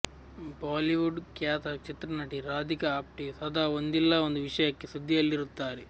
Bollywood ಖ್ಯಾತ ಚಿತ್ರನಟಿ ರಾಧಿಕಾ ಆಪ್ಟೆ ಸದಾ ಒಂದಿಲ್ಲ ಒಂದು ವಿಷಯಕ್ಕೆ ಸುದ್ದಿಯಲ್ಲಿರುತ್ತಾರೆ